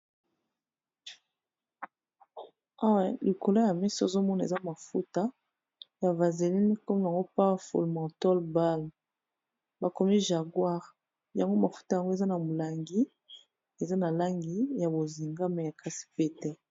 Awa likolo ya mesa ozo mona eza mafuta ya vaseline kombo nango Power ful mentol balm, bakomi jaguar yango mafuta yango eza na molangi eza na langi ya bozinga mais kasi pete.